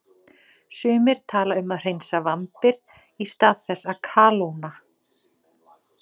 Sumir tala um að hreinsa vambir í stað þess að kalóna.